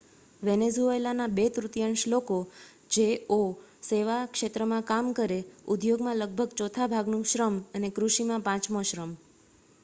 વેનેઝુએલાના બે તૃતિયાંશ લોકો જે ઓ સેવા ક્ષેત્રમાં કામ કરે ઉદ્યોગમાં લગભગ ચોથા ભાગનું શ્રમ અને કૃષિમાં પાંચમો શ્રમ